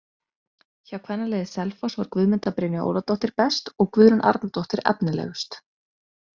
Hjá kvennaliði Selfoss var Guðmunda Brynja Óladóttir best og Guðrún Arnardóttir efnilegust.